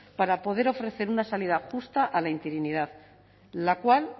para poder ofrecer una salida justa a la interinidad la cual